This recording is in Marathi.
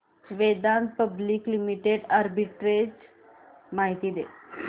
वेदांता पब्लिक लिमिटेड आर्बिट्रेज माहिती दे